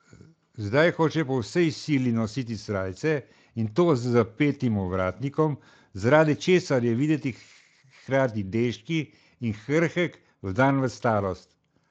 Zdaj hoče po vsej sili nositi srajce, in to z zapetim ovratnikom, zaradi česar je videti hkrati deški in krhek, vdan v starost.